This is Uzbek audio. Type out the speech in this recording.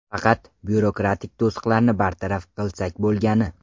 Faqat byurokratik to‘siqlarni bartaraf qilsak bo‘lgani.